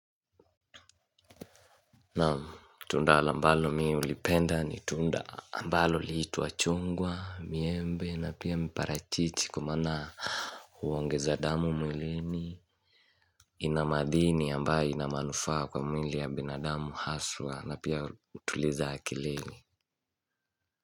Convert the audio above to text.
Naam tunda la ambalo mi hulipenda ni tunda ambalo liitua chungwa, miembe na pia miparachichi kwa mana huongeza damu mwilini ina madhini ambaye ina manufaa kwa mwili ya binadamu haswa na pia utuliza akilini.